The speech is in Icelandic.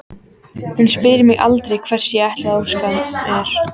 Hún spyr mig aldrei hvers ég ætli að óska mér.